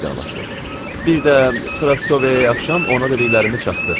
Bir də Proskovyaya axşam ona dediklərimi çatdır.